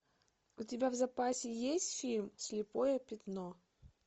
у тебя в запасе есть фильм слепое пятно